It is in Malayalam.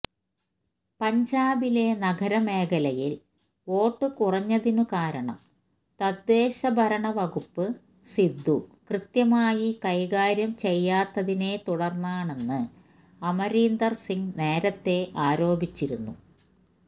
പഞ്ചാബിലെ നഗരമേഖലയില് വോട്ട് കുറഞ്ഞതിന് കാരണം തദ്ദേശഭരണവകുപ്പ് സിദ്ദു കൃത്യമായി കൈകാര്യം ചെയ്യാത്തതിനെത്തുടര്ന്നാണെന്ന് അമരീന്ദര് സിംഗ് നേരത്തേ ആരോപിച്ചിരുന്നു